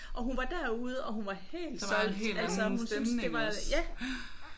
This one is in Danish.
Og hun var derude og hun var helt solgt altså hun syntes det var ja